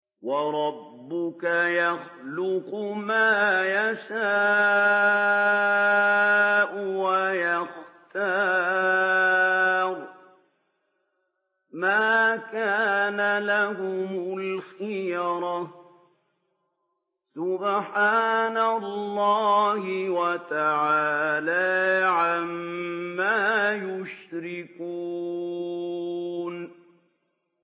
وَرَبُّكَ يَخْلُقُ مَا يَشَاءُ وَيَخْتَارُ ۗ مَا كَانَ لَهُمُ الْخِيَرَةُ ۚ سُبْحَانَ اللَّهِ وَتَعَالَىٰ عَمَّا يُشْرِكُونَ